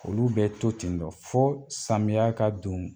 Olu bɛ to ten dɔ fo samiya ka don